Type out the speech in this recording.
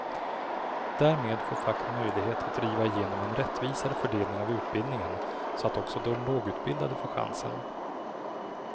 Därmed får facket möjlighet att driva igenom en rättvisare fördelning av utbildningen så att också de lågutbildade får chansen.